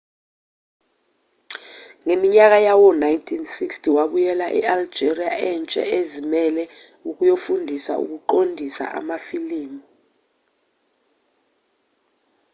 ngeminyaka yawo-1960 wabuyela e-algeria entsha ezimele ukuyofundisa ukuqondisa amafilimu